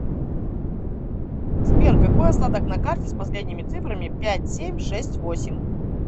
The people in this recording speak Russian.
сбер какой остаток на карте с последними цифрами пять семь шесть восемь